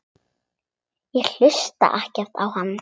Ég hlusta ekkert á hann.